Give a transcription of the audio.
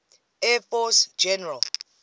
air force general